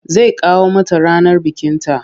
Zai kawo mata ranar bikinta.